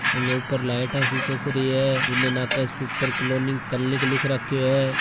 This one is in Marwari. अगे ऊपर लाइट सो चसरी है इले नाके सुपर कॉलोनी क्लिनिक लिख राखो है।